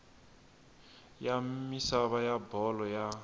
ya misava ya bolo ya